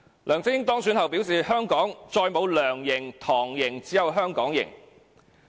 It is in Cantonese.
梁振英當選後表示，香港再沒有"梁營"、"唐營"，只有"香港營"。